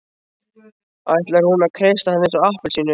Ætlar hún að kreista hann eins og appelsínu?